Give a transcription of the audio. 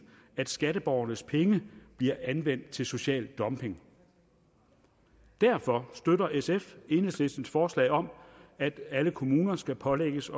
at skatteborgernes penge bliver anvendt til social dumping derfor støtter sf enhedslistens forslag om at alle kommuner skal pålægges